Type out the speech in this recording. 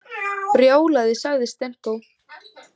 Brjálæði, sagði Stenko.